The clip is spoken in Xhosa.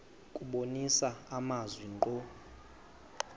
kubonisa amazwi ngqo